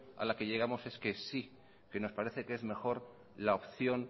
a la que llegamos es que sí que nos parece que es mejor la opción